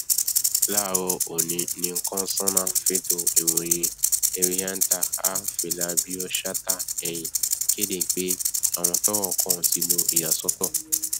láàárọ ọnì ni kọsánná fẹtọ ìròyìn henrietta a filabioshatahéhìn kéde pé àwọn tọrọ kàn ti lo ìyàsọtọ